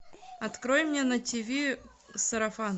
открой мне на тв сарафан